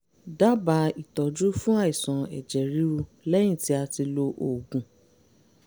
dábàá ìtọ́jú fún àìsàn ẹ̀jẹ̀ ríru lẹ́yìn tí a ti lo oògùn